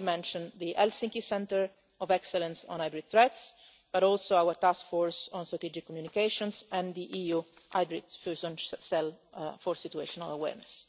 mention not only the European Centre of Excellence for Countering Hybrid Threats, but also our Task Force on Strategic Communications and the EU Hybrid Fusion Cell for situational awareness.